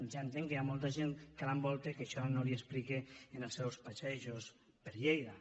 ja entenc que hi ha molta gent que l’envolta que això no li explica en els seus passejos per lleida